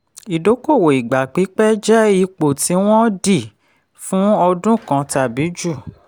ìdókòwò ìgbà pípẹ́ jẹ́ ipò tí wọ́n di fún ọdún kan tàbí ju.